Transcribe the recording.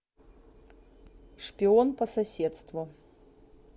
шпион по соседству